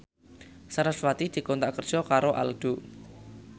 sarasvati dikontrak kerja karo Aldo